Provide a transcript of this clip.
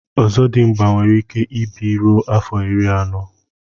ọzọdịmgba nwere ike ịbi ruo afọ iri anọ